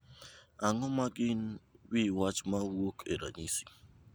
Ang’o ma gin wi wach ma wuok e ranyisi?